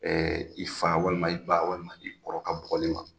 Ɛɛ i fa walima i ba walima i kɔrɔ ka bukɔli ma.